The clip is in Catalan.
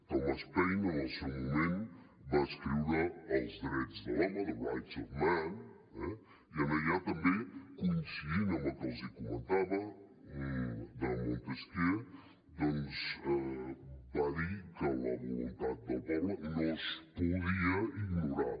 thomas paine en el seu moment va escriure els drets de l’home i en allà també coincidint amb el que els comentava de montesquieu va dir que la voluntat del poble no es podia ignorar